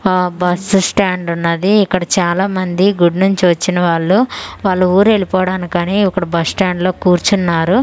ఆ బస్సు స్టాండున్నది ఇక్కడ చాలా మంది గుడి నుంచి వచ్చిన వాళ్ళు వాళ్ళు ఊరెళ్ళిపోవడానికని ఇక్కడ బస్ స్టాండ్ లో కూర్చున్నారు--